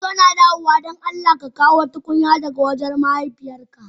In kana dawowa don Allah ka Kawo tukunyata daga wajen mahaifiyar ka.